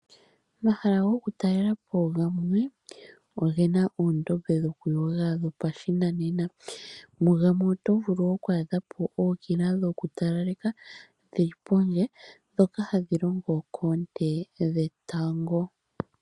Omahala gokutalelapo gamwe oge na oondombe dhokuyoga dhopashinanena, mugamwe oto vulu okwadha po ookila dhokutalaleka dhili pondje ndhoka hadhi longo koonte dhe tango.